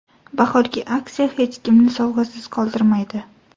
Bahorgi aksiya hech kimni sovg‘asiz qoldirmaydi!